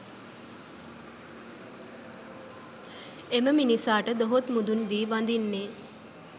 එම මිනිසාට දොහොත් මුදුන් දී වදින්නේ